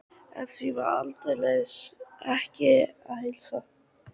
En því var aldeilis ekki að heilsa.